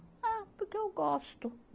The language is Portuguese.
Ah, porque eu gosto.